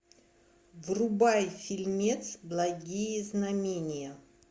врубай фильмец благие знамения